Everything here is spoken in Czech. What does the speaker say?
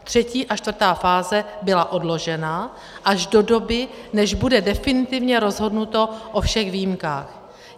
Třetí a čtvrtá fáze byla odložena až do doby, než bude definitivně rozhodnuto o všech výjimkách.